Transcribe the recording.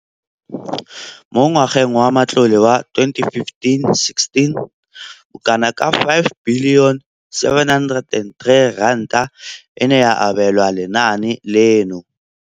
Mo ngwageng wa matlole wa 2015,16, bokanaka R5 703 bilione e ne ya abelwa lenaane leno.